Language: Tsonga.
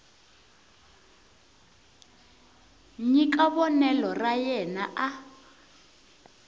nyika vonelo ra yena a